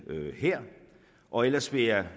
her og ellers vil jeg